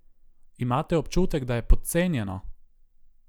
Imate občutek, da je podcenjeno?